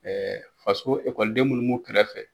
Ɛɛ faso ekɔliden den minnu b'u kɛrɛfɛ